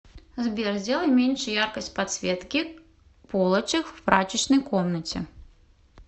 сбер сделай меньше яркость подсветки полочек в прачечной комнате